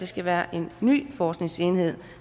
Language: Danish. skal være en ny forskningsenhed